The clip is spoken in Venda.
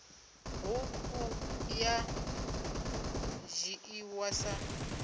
ṱhukhu ya ḓo dzhiiwa sa